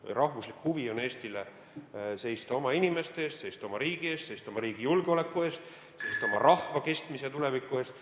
Eesti rahvuslik huvi on seista oma inimeste eest, seista oma riigi eest, seista oma riigi julgeoleku eest, seista oma rahva kestmise ja tuleviku eest.